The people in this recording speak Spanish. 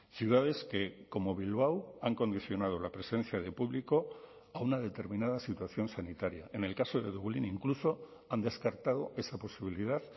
ciudades que como bilbao han condicionado la presencia de público a una determinada situación sanitaria en el caso de dublín incluso han descartado esa posibilidad